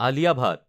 আলিয়া ভাত